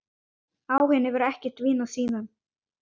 Áhuginn hefur ekkert dvínað síðan.